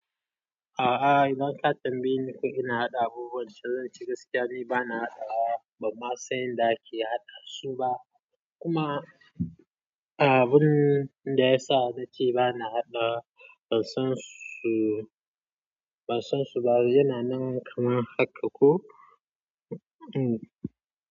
A'a idan ka tambaye ni ko ina haɗa abubuwan saidai ince gaskiya dai bana haɗawa. Ban ma san yanda ake haɗa su ba kuma abun da ya sa na ce bana haɗawa, ban san su. Ban san su ba, yana nan kaman haka ko? Hmm.